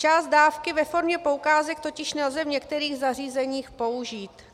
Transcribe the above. Část dávky ve formě poukázek totiž nelze v některých zařízeních použít.